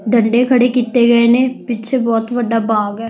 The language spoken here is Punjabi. ਡੰਡੇ ਖੜੇ ਕੀਤੇ ਗਏ ਨੇ ਪਿੱਛੇ ਬਹੁਤ ਵੱਡਾ ਬਾਗ ਆ।